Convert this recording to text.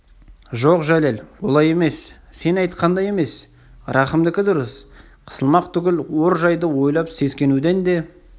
жоқ жәлел олай емес сен айтқандай емес рахымдыкі дұрыс қысылмақ түгіл ор жайды ойлап сескенуден де